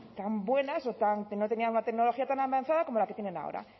tan buenas o tan que no tenían una tecnología tan avanzada como la que tienen ahora